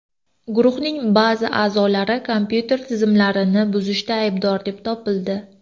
Guruhning ba’zi a’zolari kompyuter tizimlarini buzishda aybdor deb topildi.